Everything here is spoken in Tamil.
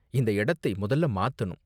இந்த இடத்தை மொதல்ல மாத்தணும்.